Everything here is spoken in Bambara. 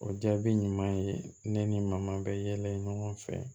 O jaabi ɲuman ye ne ni maaman bɛ yɛlɛ ɲɔgɔn fɛ